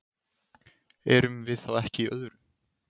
Erum við þá ekki í öðru?